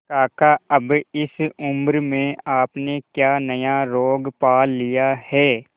काका अब इस उम्र में आपने क्या नया रोग पाल लिया है